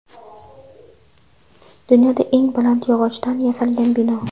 Dunyoda eng baland yog‘ochdan yasalgan bino .